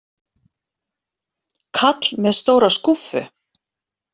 Kall með stóra skúffu.